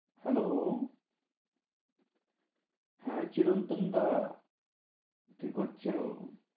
Hello হ্যাঁ চিরন্তন দা কি করছো?